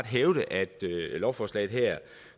hævde at lovforslaget her